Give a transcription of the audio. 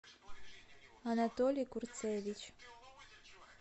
анатолий курцевич